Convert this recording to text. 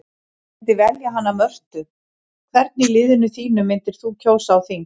Ég myndi velja hana Mörtu Hvern í liðinu þínu myndir þú kjósa á þing?